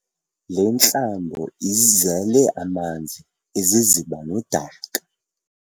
Le ntlambo izele amanzi, iziziba nodaka.